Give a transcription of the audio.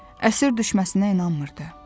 Əsir düşməsinə inanmırdı.